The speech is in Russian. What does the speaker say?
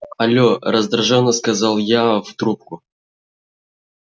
алло раздражённо сказал я в трубку